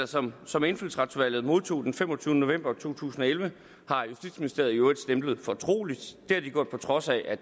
som som indfødsretsudvalget modtog den femogtyvende november to tusind og elleve har justitsministeriet i øvrigt stemplet fortroligt det har de gjort på trods af at